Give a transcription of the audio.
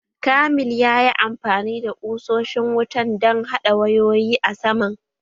Kamil ya yi amfani da ƙusoshin don haɗa wayoyi a saman